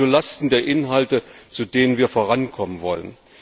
Das geht zulasten der Inhalte, bei denen wir vorankommen wollen.